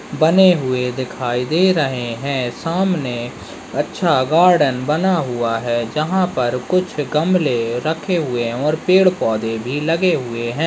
बने हुए दिखाई दे रहे हैं सामने अच्छा गार्डन बना हुआ है जहाँ पर कुछ गमले रखे हुए हैं और पेड़ पौधे भी लगे हुए हैं।